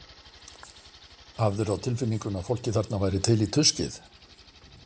Hafðirðu á tilfinningunni að fólkið þarna væri til í tuskið?